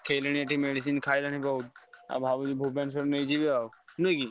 ଦେଖେଇଲେଣି ଏଠି medicine ଖାଇଲାଣି ବହୁତ ଆଉ ଭାବୁଛି ଭୁବନେଶ୍ବର ନେଇଯିବି ଆଉ ନୁହେଁ କି?